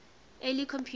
early computers